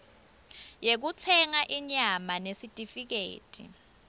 yekutsenga inyama nesitifiketi